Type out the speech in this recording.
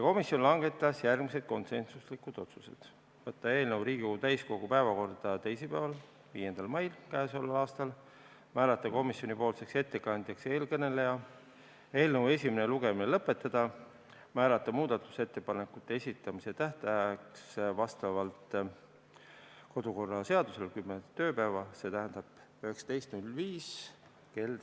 Komisjon langetas järgmised konsensuslikud otsused: võtta eelnõu Riigikogu täiskogu päevakorda teisipäeval, 5. mail k.a, määrata komisjoni ettekandjaks siinkõneleja, eelnõu esimene lugemine lõpetada ja määrata muudatusettepanekute esitamise tähtajaks vastavalt kodukorraseadusele kümme tööpäeva, 19. mai kell 17.15.